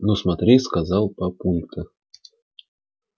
ну смотри сказал папулька